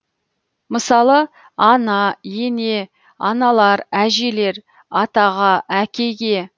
мысалы ана ене аналар әжелер атаға әкеге